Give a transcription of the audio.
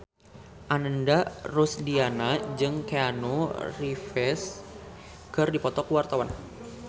Ananda Rusdiana jeung Keanu Reeves keur dipoto ku wartawan